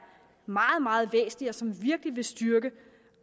meget meget væsentlige og som virkelig vil styrke